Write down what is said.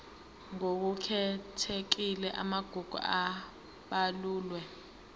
ngokukhethekile amagugu abalulwe